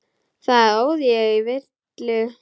Þar óð ég í villu.